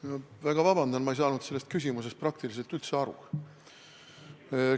Ma palun väga vabandust, ma ei saanud sellest küsimusest praktiliselt üldse aru.